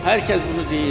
Hər kəs bunu deyir.